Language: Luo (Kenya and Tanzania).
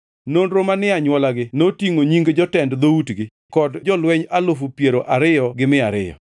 Nonro manie anywolagi, notingʼo nying jotend dhoutgi kod jolweny alufu piero ariyo gi mia ariyo (20,200).